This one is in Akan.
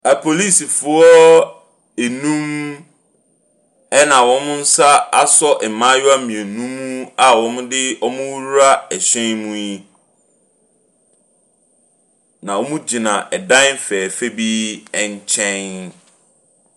Apolisifoɔ nnum ɛna wɔn nsa asɔ mmaayewa mmienu mu a wɔde wɔn rewura ɛhyɛn mu yi. Na wɔgyina ɛdan fɛɛfɛɛ bi nkyɛn.